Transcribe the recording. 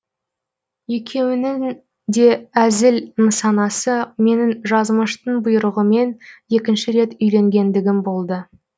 екеуінің де әзіл нысанасы менің жазмыштың бұйрығымен екінші рет үйленгендігім болды